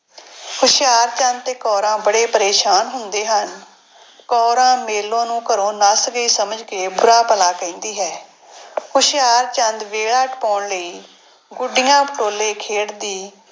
ਹੁਸ਼ਿਆਰਚੰਦ ਤੇ ਕੌਰਾਂ ਬੜੇ ਪਰੇਸਾਨ ਹੁੰਦੇ ਹਨ, ਕੌਰਾਂ ਮੇਲੋ ਨੂੰ ਘਰੋਂ ਨੱਸ ਗਈ ਸਮਝ ਕੇ ਬੁਰਾ ਭਲਾ ਕਹਿੰਦੀ ਹੈ। ਹੁਸ਼ਿਆਰਚੰਦ ਵੇਲਾ ਟਪਾਉਣ ਲਈ ਗੁੱਡੀਆਂ ਪਟੋਲੇ ਖੇਡਦੀ